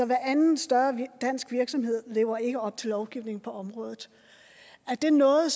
hveranden større dansk virksomhed lever ikke op til lovgivningen på området er det noget